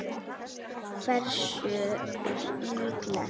Hversu líklegt?